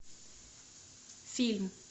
фильм